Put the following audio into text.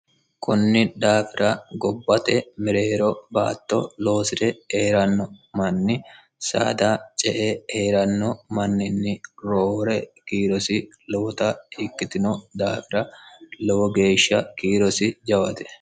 kunni daafira gobbate mereero baatto loosi're eeranno manni saada ce e eeranno manninni roore kiirosi lowota ikkitino daafira lowo geeshsha kiirosi jawate